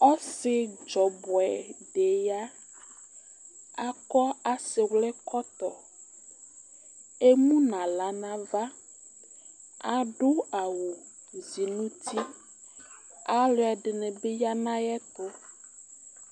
ɔsidzɔbʋɛ di ya akɔ asiwli kɔtɔ enala nava adʋ awʋzi nʋti alʋɛdinibi ya nayʋɛtʋ